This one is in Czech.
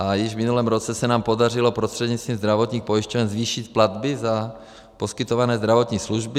A již v minulém roce se nám podařilo prostřednictvím zdravotních pojišťoven zvýšit platby za poskytované zdravotní služby.